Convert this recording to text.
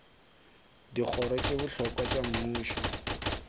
dikgoro tše bohlokwa tša mmušo